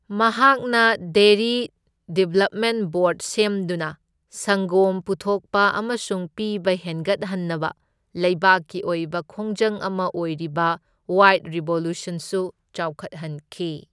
ꯃꯍꯥꯛꯅ dairy development board ꯁꯦꯝꯗꯨꯅ ꯁꯪꯒꯣꯝ ꯄꯨꯊꯣꯛꯄ ꯑꯃꯁꯨꯡ ꯄꯤꯕ ꯍꯦꯟꯒꯠꯍꯟꯅꯕ ꯂꯩꯕꯥꯛꯀꯤ ꯑꯣꯏꯕ ꯈꯣꯡꯖꯪ ꯑꯃ ꯑꯣꯏꯔꯤꯕ ꯋꯥꯏꯠ ꯔꯦꯚꯣꯂ꯭ꯌꯨꯁꯟꯁꯨ ꯆꯥꯎꯈꯠꯍꯟꯈꯤ꯫